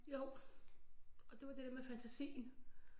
Jo og det var det der med fantasien